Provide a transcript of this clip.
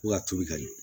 Fo ka turu ka ɲɛ